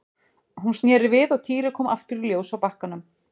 Hún sneri við og Týri kom aftur í ljós á bakkanum.